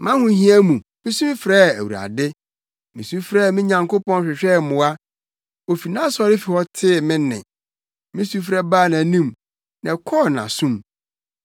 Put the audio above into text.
Mʼahohia mu, misu frɛɛ Awurade. Misu frɛɛ me Nyankopɔn hwehwɛɛ mmoa. Ofi nʼasɔrefi hɔ tee me nne; me sufrɛ baa nʼanim, na ɛkɔɔ nʼasom.